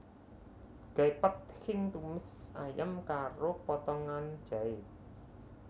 Gai Pad Khing tumis ayam karo potongan jahé